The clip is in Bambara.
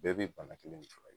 Bɛɛ b'i bana kelen de fura kɛ